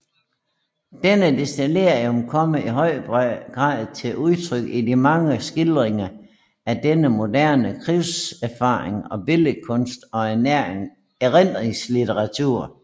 Denne desillusion kommer i høj grad til udtryk i de mange skildringer af denne moderne krigserfaring i billedkunst og erindringslitteratur